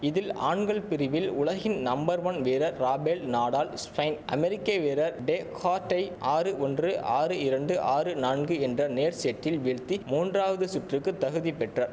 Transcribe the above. இதில் ஆண்கள் பிரிவில் உலகின் நம்பர் ஒன் வீரர் ராபேல் நாடால் ஸ்பெயின் அமெரிக்க வீரர் டேகார்ட்டை ஆறு ஒன்று ஆறு இரண்டு ஆறு நான்கு என்ற நேர் செட்டில் வீழ்த்தி மூன்றாவது சுற்றுக்கு தகுதி பெற்றார்